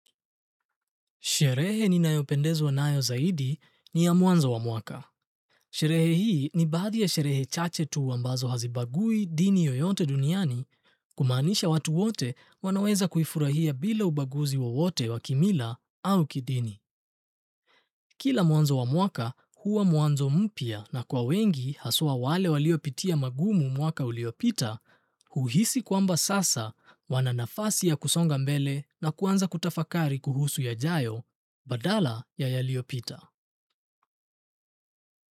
Sherehe ninayopendezwa nayo zaidi ni ya mwanzo wa mwaka. Sherehe hii ni baadhi ya sherehe chache tu ambazo hazibagui dini yoyote duniani kumaanisha watu wote wanaweza kuifurahia bila ubaguzi wowote wa kimila au kidini. Kila mwanzo wa mwaka huwa mwanzo mpya na kwa wengi haswa wale waliopitia magumu mwaka uliopita, huhisi kwamba sasa wana nafasi ya kusonga mbele na kuanza kutafakari kuhusu yajayo, badala ya yaliopita.